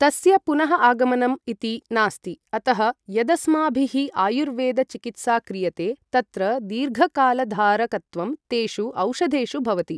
तस्य पुनः आगमनं इति नास्ति अतः यदस्माभिः आयुर्वेद चिकित्सा क्रियते तत्र दीर्घकालधारकत्वं तेषु औषधेषु भवति